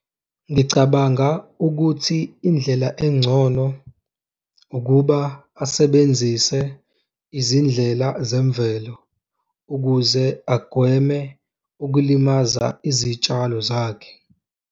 Ngicabanga ukuthi indlela engcono ukuba asebenzise izindlela zemvelo ukuze agweme ukulimaza izitshalo zakhe.